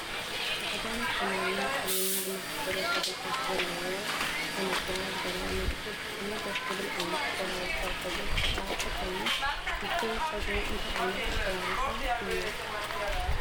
ፃዕዳን ሰማያዊን ፀሊምን ዝመሳሰሉን ሕብርታት ዘለዎ ከናቲራ ዝገበረ መንእሰይ ብጣዕሚ ደስ ዝብል ዓይነት ኣቆራርፃ ፀጉሩ ዝተቆረፀ ኮይኑ። እቱይ ፀጉሩ እንታይ ዓይነት ኣቆራርፃ እዩ?